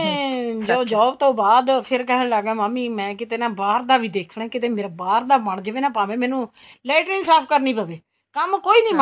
ਜੋ job ਤੋਂ ਬਾਅਦ ਫੇਰ ਕਹਿਣ ਲੱਗ ਗਿਆ ਮਾਮੀ ਮੈਂ ਕਿੱਥੇ ਨਾ ਬਾਹਰ ਦਾ ਵੀ ਦੇਖਣਾ ਕੀਤੇ ਮੇਰਾ ਬਾਹਰ ਦਾ ਬਣ ਜਾਵੇ ਨਾ ਭਾਵੇ ਮੈਨੂੰ ਲੈਟ੍ਰਿੰਗ ਸਾਫ਼ ਕਰਨੀ ਪਵੇ ਕੰਮ ਕੋਈ ਨੀ ਮਾੜਾ